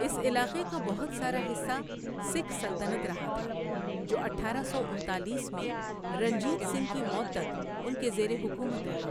اس علاقے کا بہت سارا حصہ سکھ سلطنت رہا تھا، جو اٹھارہ سو انتالیس میں رنجیت سنگھ کی موت تک ان کے زیر حکومت رہا۔